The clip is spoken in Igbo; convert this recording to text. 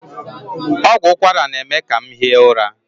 Ọgwụ ụkwara na-eme ka m hie ụra.